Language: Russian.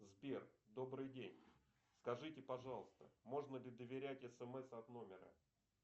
сбер добрый день скажите пожалуйста можно ли доверять смс от номера